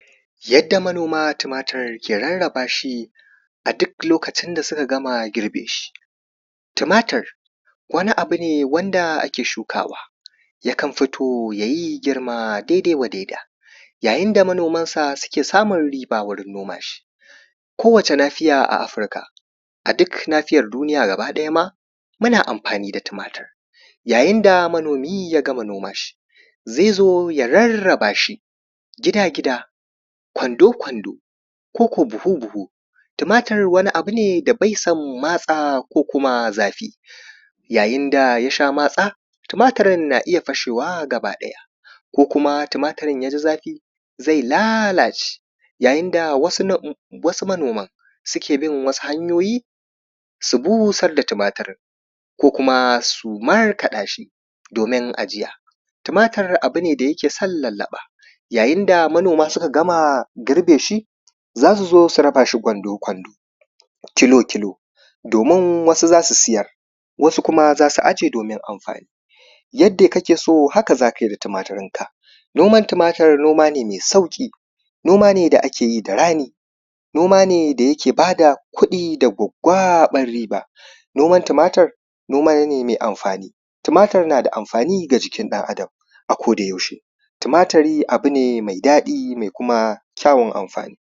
yadda manoma tumatir ke rarraba shi a duk lokacin da suka gama girbe shi tumatir wani abu ne wanda ake shukawa yakan fito yayi girma a dai-dai wadaida yayin da manoman sa suke samun riba wurin noma shi ko wacce nafiya a afrika a duk nafiyar duniya gaba ɗaya ma muna amfani da tumatir yayin da manomi ya gama noman shi zai zo ya rarraba shi gida-gida ƙwando-ƙwando ko ko buhu-buhu tumatir wani abu ne da bai son matsa ko kuma zafi yayin da yasha matsa tumatirin na iya fashewa gaba ɗaya ko kuma tumatirin yaji zafi zai lalace yayin da wasu manoman suke bin wasu hanyoyi su busar da tumatirin ko kuma su markaɗa shi domin ajiya tumatir abune da yake son lallaɓa yayin da manoma suka gama girbe shi zasu zo su rabashi ƙwando-ƙwando kilo-kilo domin wasu zasu siyar wasu kuma zasu aje domin amfani yadda kake so haka zakai da tumatirin ka noman tumatir noma ne mai sauƙi noma ne da akeyi da rani noma ne da yake bada kuɗi da gwaggwaɓar riba noman tumatir noma ne mai amfani tumatir nada amfani ga jikin ɗan adam a koda yaushe tumatiri abu ne mai daɗi da kuma kyawun amfani